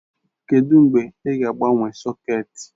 Kedụ mgbe ị ga-agbanwe sọ̀két?